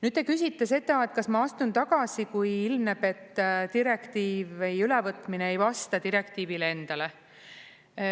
Nüüd, te küsite seda, kas ma astun tagasi, kui ilmneb, et direktiivi ülevõtmine ei vasta direktiivile endale.